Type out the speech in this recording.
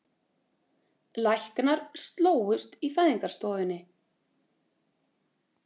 Læknar slógust í fæðingarstofunni